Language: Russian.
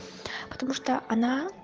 потому что она